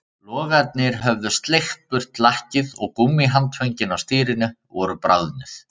Logarnir höfðu sleikt burt lakkið og gúmmíhandföngin á stýrinu voru bráðnuð